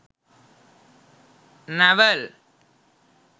navel